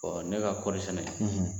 ne ka kɔɔri sɛnɛ